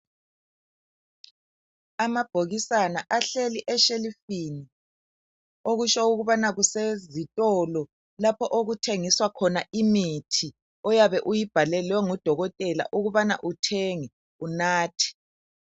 Amabhokisana ahleli eshelufini Okutsho ukubana kusezitolo lapho okuthengiswa khona imithi oyabe uyibhalelwe ngudokotela ukubana uthenge unathe